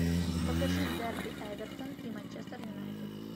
покажи дерби эвертон и манчестер юнайтед